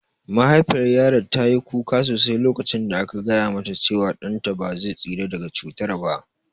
Mahaifiyar yaron ta yi kuka sosai lokacin da aka gaya mata cewa ɗan ta ba zai tsira daga cutar ba